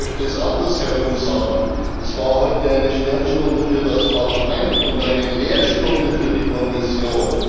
Ich möchte es anders herum sagen Es war heute eine Sternstunde für das Parlament und eine Lehrstunde für die Kommission.